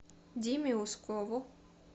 диме ускову